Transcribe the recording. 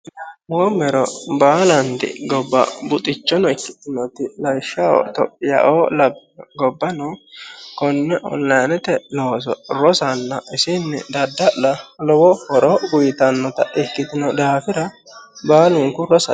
la'noomero baalanti gobba buxxichono ikkitinoti lawishshaho itophiyaaoo labbaa gobbano konne onilayiinete looso rosanna isinni dadda'la lowo horo uyitannota ikkitino daafira baalunku rosate